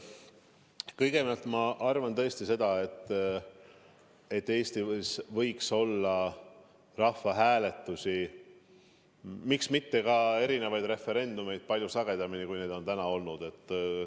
Kõigepealt, ma arvan tõesti, et Eestis võiks olla rahvahääletusi, miks mitte ka referendumeid palju sagedamini, kui neid on täna olnud.